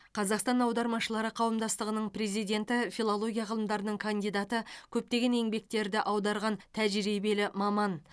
қазақстан аудармашылары қауымдастығының президенті филология ғылымдарының кандидаты көптеген еңбектерді аударған тәжірибелі маман